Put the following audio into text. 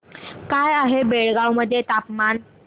काय आहे बेळगाव मध्ये तापमान